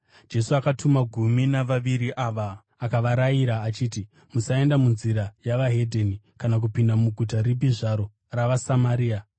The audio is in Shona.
Jesu akatuma gumi navaviri ava, akavarayira achiti, “Musaenda munzira yeveDzimwe Ndudzi kana kupinda muguta ripi zvaro ravaSamaria.